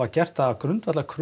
gert það að grundvallarkröfu